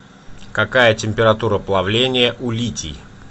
какая температура плавления у литий